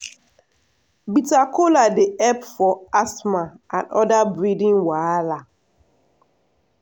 bitter kola dey help for asthma and other breathing wahala.